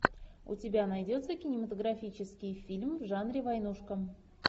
у тебя найдется кинематографический фильм в жанре войнушка